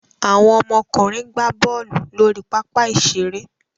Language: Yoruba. Àwọn ọmọkùnrin gbá bọ́ọ́lù lórí pápá-ìṣeré.